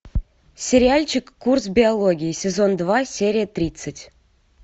сериальчик курс биологии сезон два серия тридцать